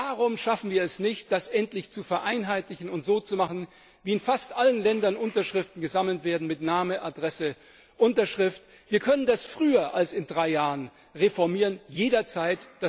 Warum schaffen wir es nicht, das endlich zu vereinheitlichen und so zu machen, wie in fast allen Ländern Unterschriften gesammelt werden, mit Name, Adresse, Unterschrift? Wir können das früher als in drei Jahren reformieren, jederzeit!